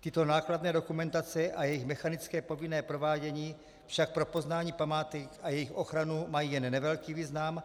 Tyto nákladné dokumentace a jejich mechanické povinné provádění však pro poznání památek a jejich ochranu mají jen nevelký význam